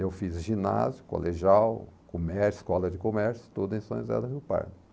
Eu fiz ginásio, colegial, comércio, escola de comércio, tudo em São José do Rio Pardo.